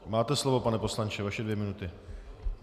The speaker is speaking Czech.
Máte slovo, pane poslanče, vaše dvě minuty.